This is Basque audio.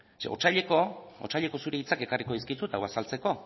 zeren otsaileko otsaileko zure hitzak ekarriko dizkizut hau azaltzeko